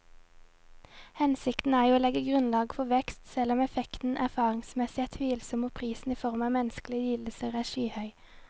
Hensikten er jo å legge grunnlaget for vekst, selv om effekten erfaringsmessig er tvilsom og prisen i form av menneskelige lidelser er skyhøy.